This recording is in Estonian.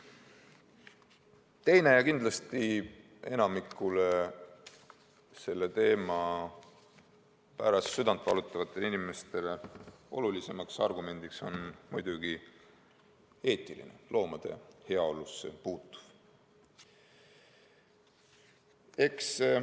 Teist liiki ja kindlasti enamikule selle teema pärast südant valutavatele inimestele olulisem argument on muidugi eetiline, loomade heaolusse puutuv.